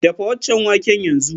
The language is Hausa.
Dafa waccan wake yanzu!